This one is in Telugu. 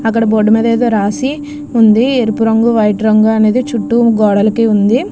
అక్కడ బోర్డు ఏదో రాసి ఉంది ఎరుపు రొంగు వైట్ రొంగు అనేది చుట్ట రాసి ఉంది.